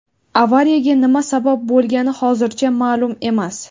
Avariyaga nima sabab bo‘lgani hozircha ma’lum emas.